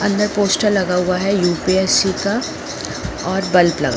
अंदर पोस्टर लगा हुआ है यू.पी.एस.सी का और बल्ब लगा--